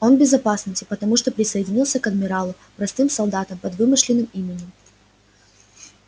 он в безопасности потому что присоединился к адмиралу простым солдатом под вымышленным именем